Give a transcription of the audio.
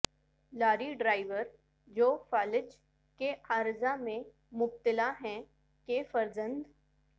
لاری driver جو فالج کے عارضہ میں مبتلا ہیں کہ فرزند